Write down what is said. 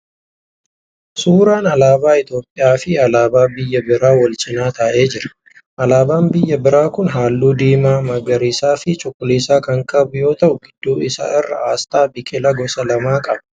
Suuraa alaabaa Itiyoopiyaa fi alaabaa biyya biraa wal cina ta'aa jiraniidha. Alaabaan biyya biraa kun halluu diimaa, magariisaa fi cuquliisa kan qabu yoo ta'u gidduu isaa irraa asxaa biqilaa gosa lamaa qaba.